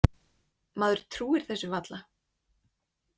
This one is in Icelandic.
Maður trúir þessu varla.